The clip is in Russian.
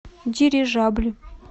дирижабль